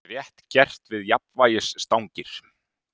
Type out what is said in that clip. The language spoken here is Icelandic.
Var rétt gert við jafnvægisstangir?